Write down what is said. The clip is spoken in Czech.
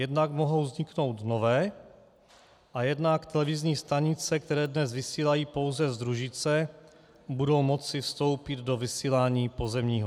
Jednak mohou vzniknout nové a jednak televizní stanice, které dnes vysílají pouze z družice, budou moci vstoupit do vysílání pozemního.